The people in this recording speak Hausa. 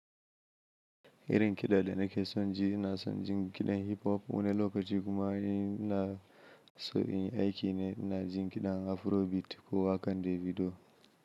Irin kiɗa da nake son ji, ina son jin kiɗan hip hop wani lokaci kuma in ina so in yi aiki ne ina jin kiɗan afrobeat ko wakan Davido.